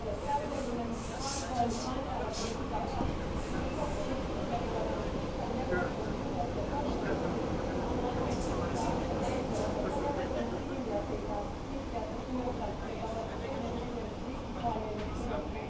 täydellinen, harvoin lainsäädäntömme sitä on, mutta se on kuitenkin viiden vuoden pitkän neuvottelun tulos ja kompromissi, ja haluan lämpimästi kiittää Axel Vossia ja koko neuvottelutiimiä siitä sitkeästä työstä, jota olette tehneet monien ristipaineiden edessä.